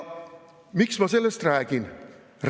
Miks ma sellest räägin?